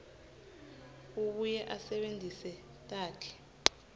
abuye asebentise takhi